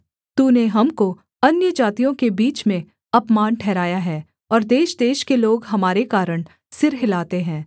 तूने हमको अन्यजातियों के बीच में अपमान ठहराया है और देशदेश के लोग हमारे कारण सिर हिलाते हैं